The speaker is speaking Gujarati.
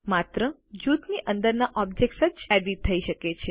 માત્ર જૂથની અંદરના ઓબ્જેક્ત્સ જ એડિટ થઇ શકે